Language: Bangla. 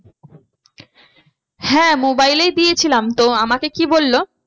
হ্যাঁ mobile এই দিয়েছিলাম তো আমাকে কি বললো